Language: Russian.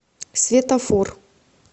светофор